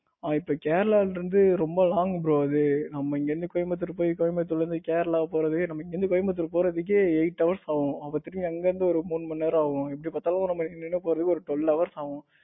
அது இப்ப கேரளாவுல இருந்து ரொம்ப long bro அது நம்ம இங்க இருந்து கோயம்புத்தூர் போயி கோயம்புத்தூரில் இருந்து கேரளா போறதே நம்ம இங்க இருந்து கோயம்புத்தூர் போறதுக்கே eight hours ஆகும். அதுக்கு அப்புறம் அங்க இருந்து ஒரு மூணு மணி நேரம் ஆகும். எப்படி பார்த்தாலும் நம்ம நின்னு நின்னு போறதுக்கு twelve hours ஆகும்.